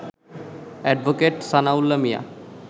advocate Sanaullah Mia